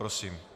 Prosím.